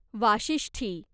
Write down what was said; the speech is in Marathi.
वाशिष्ठी